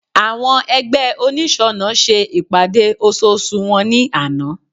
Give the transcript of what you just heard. Àwọn ẹgbẹ́ oniṣọnà ṣe ìpàdé ososù wọn ní àná